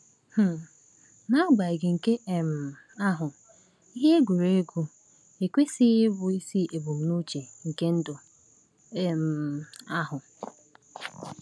um N’agbanyeghị nke um ahụ, ihe egwuregwu ekwesịghị ịbụ isi ebumnuche nke ndụ um anyị.